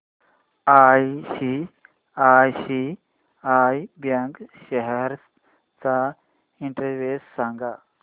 ICICI bank shares चा index सांगा